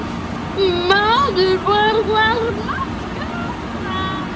Maður var þar manns gaman.